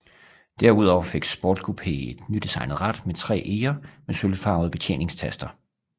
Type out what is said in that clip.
Derudover fik Sportscoupé et nydesignet rat med tre eger med sølvfarvede betjeningstaster